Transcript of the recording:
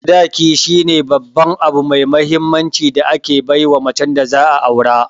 Sadaki shine Babban abu mai mahinmanci da ake baiwa macen da za'a Aure.